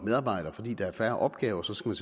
medarbejdere fordi der er færre opgaver så skal